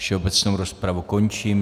Všeobecnou rozpravu končím.